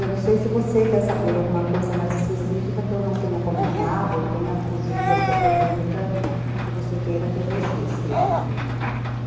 Eu não sei se você quer saber alguma coisa mais específica que eu não tenha comentado ou tenha fugido a sua pergunta, que você queira que eu registre.